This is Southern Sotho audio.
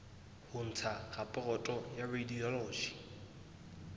ho ntsha raporoto ya radiology